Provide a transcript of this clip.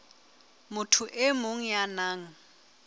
motho e mong ya nang